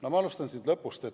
No ma alustan lõpust.